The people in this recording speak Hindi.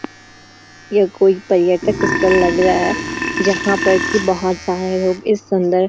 यह कोई पर्यटक स्थल लग रहा है जहाँ पर की बहुत सारे लोग इस --